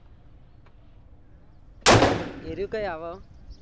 એરુ કઈ આવે એમ